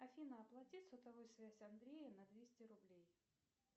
афина оплати сотовую связь андрея на двести рублей